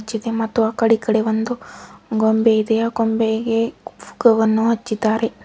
ಇದೇ ಮತ್ತು ಆ ಕಡೆ ಈ ಕಡೆ ಒಂದು ಗೊಂಬೆ ಇದೆ ಆ ಗೊಂಬೆಗೆ ಹಚ್ಚಿದ್ದಾರೆ.